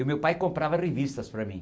E o meu pai comprava revistas para mim.